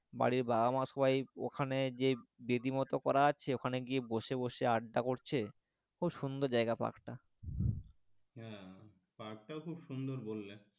বাড়ির বাবা মা সবাই ওখানে যে বেদি মতো করা আছে ওখানে গিয়ে বসে বসে আড্ডা করছে খুব সুন্দর জায়গা park টা car park টাও খুব সুন্দর বললেন.